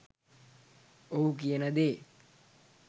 ඔහු කියන දේ.